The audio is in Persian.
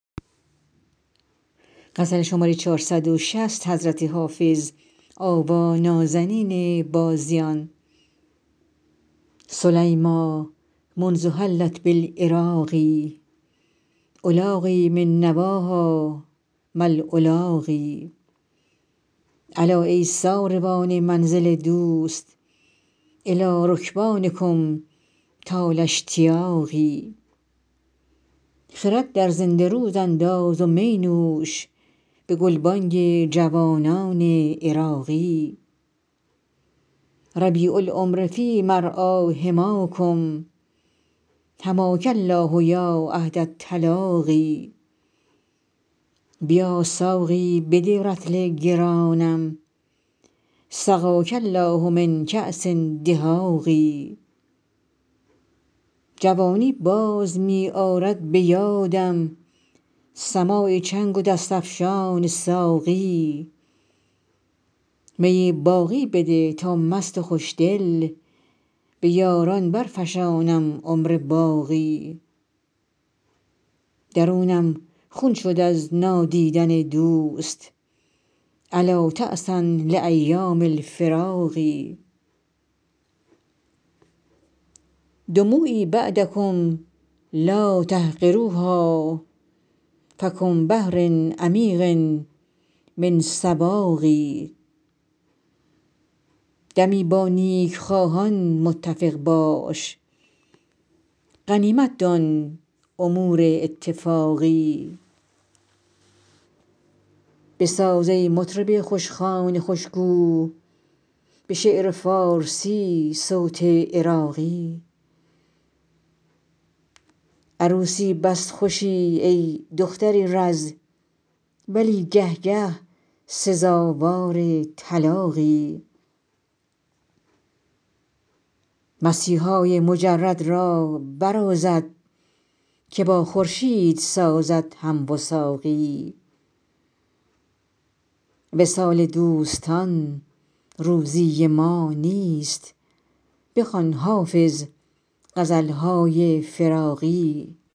سلیمیٰ منذ حلت بالعراق ألاقی من نواها ما ألاقی الا ای ساروان منزل دوست إلی رکبانکم طال اشتیاقی خرد در زنده رود انداز و می نوش به گلبانگ جوانان عراقی ربیع العمر فی مرعیٰ حماکم حماک الله یا عهد التلاقی بیا ساقی بده رطل گرانم سقاک الله من کأس دهاق جوانی باز می آرد به یادم سماع چنگ و دست افشان ساقی می باقی بده تا مست و خوشدل به یاران برفشانم عمر باقی درونم خون شد از نادیدن دوست ألا تعسا لأیام الفراق دموعی بعدکم لا تحقروها فکم بحر عمیق من سواق دمی با نیکخواهان متفق باش غنیمت دان امور اتفاقی بساز ای مطرب خوشخوان خوشگو به شعر فارسی صوت عراقی عروسی بس خوشی ای دختر رز ولی گه گه سزاوار طلاقی مسیحای مجرد را برازد که با خورشید سازد هم وثاقی وصال دوستان روزی ما نیست بخوان حافظ غزل های فراقی